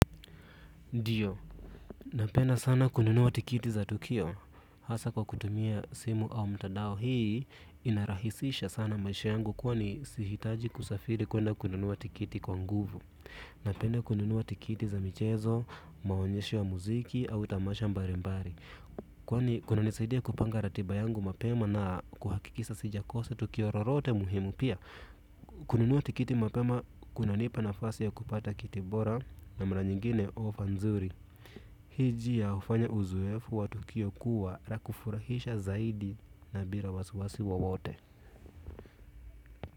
Ndiyo, napenda sana kununua tikiti za tukio. Hasa kwa kutumia simu au mtadao hii, inarahisisha sana maisha yangu kwani sihitaji kusafiri kuenda kununua tikiti kwa nguvu. Napenda kununua tikiti za michezo, maonyesho wa muziki au tamasha mbalimbali. Kwani kunanisaidia kupanga ratiba yangu mapema na kuhakikisha sijakosa tukio lolote muhimu pia. Kununua tikiti mapema kuna nipa nafasi ya kupata kiti bora na mara nyingine offer nzuri. Hii njia hufanya uzoefu wa tukio kuwa la kufurahisha zaidi na bila wasiwasi wowote.